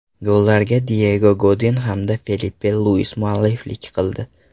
Gollarga Diyego Godin hamda Felipe Luis mualliflik qildi.